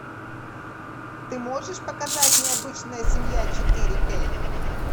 ты можешь показать мне обычная семья четыре кей